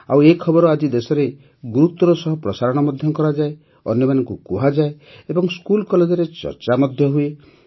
ଆଉ ଏ ଖବର ଆଜି ଦେଶରେ ଗୁରୁତ୍ୱର ସହ ପ୍ରସାରଣ ମଧ୍ୟ କରାଯାଏ ଅନ୍ୟମାନଙ୍କୁ କୁହାଯାଏ ଏବଂ ସ୍କୁଲ୍ କଲେଜରେ ଚର୍ଚା ମଧ୍ୟ ହୁଏ